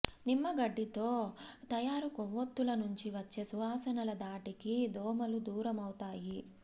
నిమ్మగడ్డితో తయారు కొవ్వొత్తుల నుంచి వచ్చే సువాసనల ధాటికి దోమలూ దూరమవుతాయి